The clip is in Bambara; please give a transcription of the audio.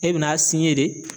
E bɛn'a de